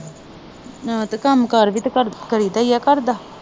ਆਹੋ ਤੇ ਕੰਮ ਕਾਰ ਵੀ ਤੇ ਕਰਦਾ ਕਰੀ ਦਾ ਈ ਘਰਦਾ।